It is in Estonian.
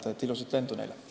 Nii et ilusat lendu neile!